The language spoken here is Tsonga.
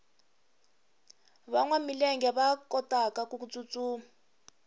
vanwa milenge va kotaku tsutsuma